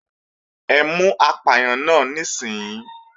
Ẹ mú apàyàn náà níìsín!